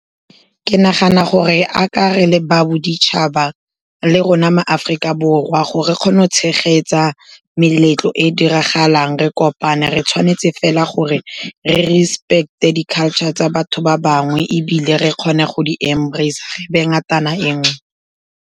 Ke nagana gore a ka re le ba boditšhaba le rona maAforika Borwa, gore re kgone go tshegetsa meletlo e diragalang, re kopane, re tshwanetse fela gore re respect-e di-culture tsa batho ba bangwe, ebile re kgone go di-embrace-a, re be ngatana e nngwe.